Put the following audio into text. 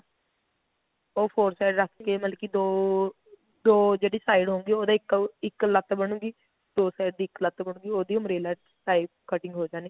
ਉਹ four side ਰੱਖ ਕੇ ਮਤਲਬ ਕੀ ਦੋ ਦੋ ਜਿਹੜੀ side ਹੁੰਦੀ ਏ ਉਹਦੀ ਇੱਕ ਇੱਕ ਲੱਤ ਬਨੁਗੀ ਦੋ side ਦੀ ਇੱਕ ਲੱਤ ਬਨੁਗੀ ਉਹਦੀ umbrella ਦੀ type cutting ਹੋ ਜਾਣੀ